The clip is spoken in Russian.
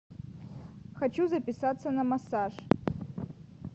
хочу записаться на массаж